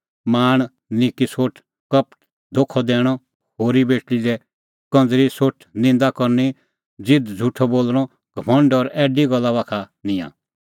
लाल़च़ निक्की सोठ कपट धोखअ दैणअ होरी बेटल़ी लै कंज़री सोठ निंदा करनी घमंड और ऐडी गल्ला